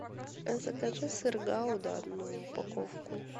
закажи сыр гауда одну упаковку